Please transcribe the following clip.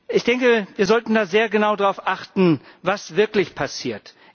Ich denke, wir sollten sehr genau darauf achten, was wirklich passiert.